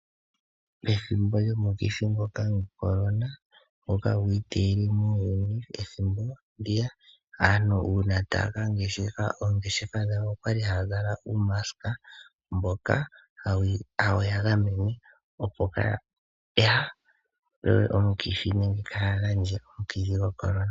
Pethimbo lyomukithi ngoka goCorona ngoka gwiiteyele muuyuni ethimbo ndiya. Aantu uuna taya ka ngeshefa oongeshefa dhawo okwali haya zala uumasika mboka hawu gamene opo Kaya kwatwe komukithi nenge Kaya gandje omukithi ngoka gwoCorona.